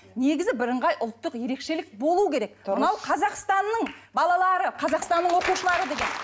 негізі бірыңғай ұлттық ерекшелік болу керек мынау қазақстанның балалары қазақстанның оқушылары деген